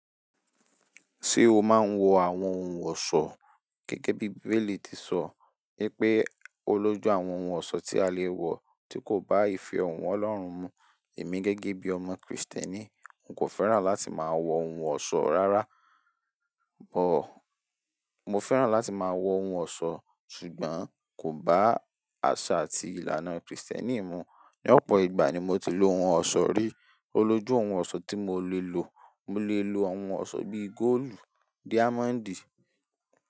Ṣé o máa ń wọ àwọn ohun ọ̀ṣọ́ gẹ́gẹ́ bí Bíbélì ti sọ pé olójú àwọn ohun ọ̀ṣọ́ tí a lè wọ tí kò bá ìfẹ́ òun Ọlọ́run mú. Èmi gẹ́gẹ́ bí ọmọ Krìstẹ́nì, n kò fẹ́ràn láti máa wọ ohun ọ̀ṣọ́ rárá, bọ̀ mo fẹ́ràn láti máa wọ ohun ọ̀ṣọ́ ṣùgbọ́n kò bá àṣà àti ìlànà Krìstẹ́nì mú. Ni opo ìgbà ni moti lo òhùn Oso ri. Oloju òhùn Oso ti mole lo. Mo lè lò, bíi góòlù àti dáyámọ́ńdì.